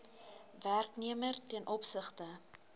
werknemer ten opsigte